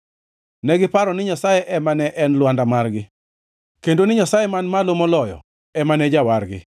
Negiparo ni Nyasaye ema ne en lwanda margi, kendo ni Nyasaye Man Malo Moloyo ema ne en Jawargi.